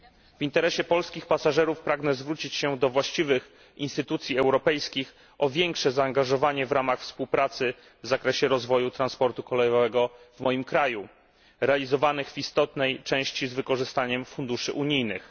W interesie polskich pasażerów pragnę zwrócić się do właściwych instytucji europejskich o większe zaangażowanie we współpracę w zakresie rozwoju transportu kolejowego w moim kraju, realizowanego w istotnej części z wykorzystaniem funduszy unijnych.